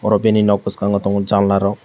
ow bini non bwakango tongo jalna rwk.